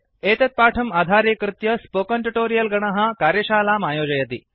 एतत् पाठम् आधारीकृत्य स्पोकन् ट्युटोरियल् गणः कार्यशालाम् आयोजयति